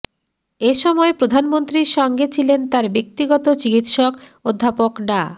এ সময় প্রধানমন্ত্রীর সঙ্গে ছিলেন তার ব্যক্তিগত চিকিৎসক অধ্যাপক ডা